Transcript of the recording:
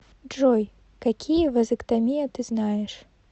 джой какие вазэктомия ты знаешь